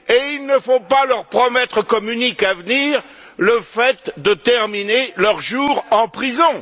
Il ne faut pas non plus leur promettre comme unique avenir le fait de terminer leurs jours en prison.